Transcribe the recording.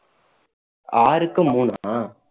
ஆறுக்கு மூணா